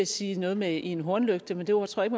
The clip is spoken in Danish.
sige noget med en hornlygte men det ord tror jeg